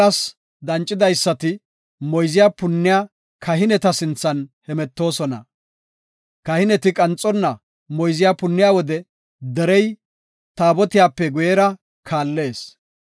Olas dancidaysati moyze punniya kahineta sinthan hemetoosona. Kahineti qanxonna moyze punniya wode derey taabotiyape guyera kaallees.